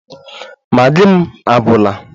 Maggi m agwụla